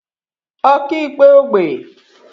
ọkaikpe ógbè